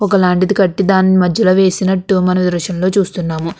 ఒక లాంటిది కట్టి దాన్ని మధ్యలో వేసినట్టు మనం దృశ్యంలో చూస్తున్నాము.